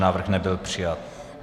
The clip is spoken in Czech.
Návrh nebyl přijat.